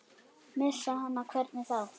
Missa hana, hvernig þá?